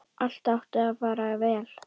Allt átti að fara vel.